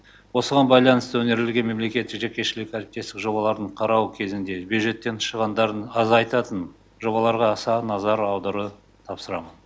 осыған байланысты өңірлерге мемлекеттік жекешілік әріптестік жобалардың қарау кезінде бюджеттік шығындарды азайтатын жобаларға аса назар аудару тапсырамын